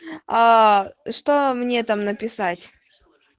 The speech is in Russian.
аа что мне там написать